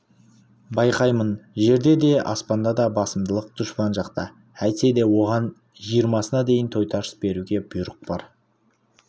байқаймын жерде де аспанда да басымдылық дұшпан жақта әйтсе де оған жиырмасына дейін тойтарыс беруге бұйрық бар